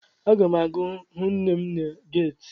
Aga m aga hụ nne m na geeti.